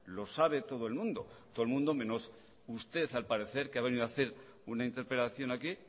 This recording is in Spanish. lo sabe todo el mundo todo el mundo menos usted al parecer que ha venido a hacer una interpelación aquí